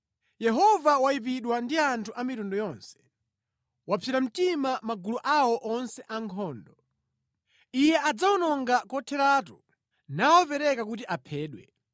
Yehova wayipidwa ndi anthu a mitundu yonse; wapsera mtima magulu awo onse ankhondo. Iye adzawawononga kotheratu, nawapereka kuti aphedwe.